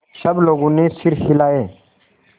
सब लोगों ने सिर हिलाए